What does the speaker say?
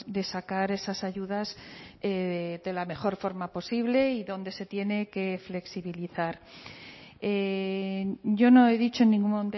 de sacar esas ayudas de la mejor forma posible y donde se tiene que flexibilizar yo no he dicho en ningún